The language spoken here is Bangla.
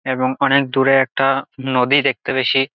এবং অনেক দূরে একটা নদী দেখতে পেছি।